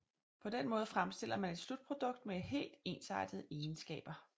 På den måde fremstiller man et slutprodukt med helt ensartede egenskaber